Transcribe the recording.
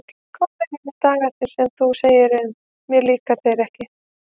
Komnir eru dagarnir sem þú segir um: mér líka þeir ekki.